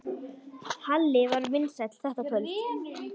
Halli var vinsæll þetta kvöld.